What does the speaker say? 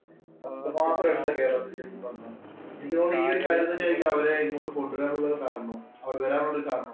അത്രമാത്രം ഉണ്ട് കേരളത്തില്. എനിക്ക് തോന്നുന്നു ഈ ഒരു കാര്യം തന്നെയായിരിക്കും അവരെ ഇങ്ങോട്ട് കൊണ്ടുവരാനുള്ള കാരണവും. അവര്‍ വരാനുള്ള ഒരു കാരണവും.